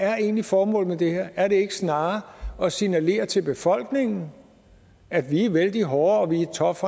er egentlig formålet med det her er det ikke snarere at signalere til befolkningen at vi er vældig hårde og vi er tough